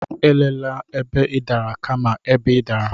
Elela ebe ị dara, kama ebe ị dara.